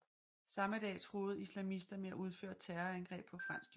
Samme dag truede islamister med at udføre terrorangreb på fransk jord